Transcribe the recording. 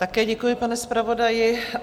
Také děkuji, pane zpravodaji.